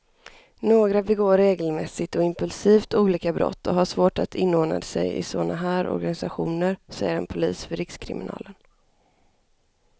Några begår regelmässigt och impulsivt olika brott och har svårt att inordna sig i såna här organisationer, säger en polis vid rikskriminalen.